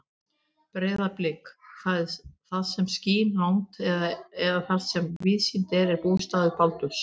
Breiðablik, það sem skín langt að eða þar sem víðsýnt er, er bústaður Baldurs.